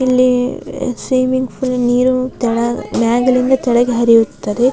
ಇಲ್ಲಿ swimming pool ನೀರು ತೆಳಗ್ ಮ್ಯಾಗಿನಿಂದ ತೆಳಗ್ ಹರಿಯುತ್ತದೆ.